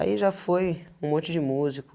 Aí, já foi um monte de músico.